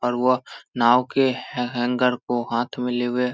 और वो नाव के हँ हँ हैंगर को हाथ मै लिवे --